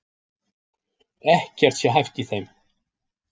Ekkert sé hæft í þeim